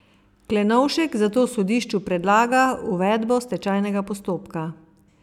Klenovšek zato sodišču predlaga uvedbo stečajnega postopka.